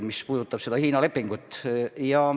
Ma pean silmas seda Hiina lepingut.